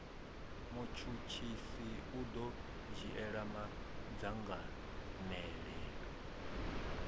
mutshutshisi u ḓo dzhiela madzangalelo